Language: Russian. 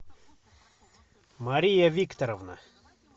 мария викторовна